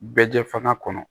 Bɛɛ jɛ fana kɔnɔ